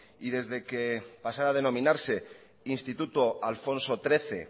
y desde que pasara a denominarse instituto alfonso trece